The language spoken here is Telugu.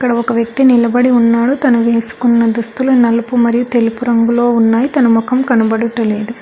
ఒక వ్యక్తి నిలబడి ఉన్నాడు తను వేసుకున్న దుస్తులు నలుపు మరియు తెలుపు రంగులో ఉన్నాయ్ తన మొఖం కనుపడుట లేదు.